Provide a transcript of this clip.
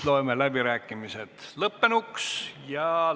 Loen läbirääkimised lõppenuks.